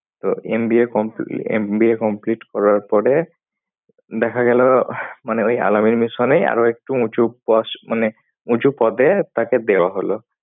তো MBA compl~ MBA complete করার পরে দেখা গেলো মানে ওই Al-Ameen mission এই আরো একটু উঁচু পোস~ মানে উঁচু পদে তাকে দেওয়া হলো।